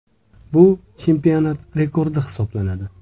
Bu chempionat rekordi hisoblanadi.